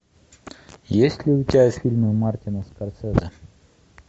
есть ли у тебя фильмы мартина скорсезе